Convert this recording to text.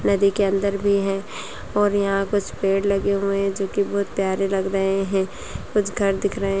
नदी के अंदर भी हैं और यहाँ कुछ पेड़ लगे हुए हैं जोकि बहोत प्यारे लग रहे हैं कुछ घर दिख रहे --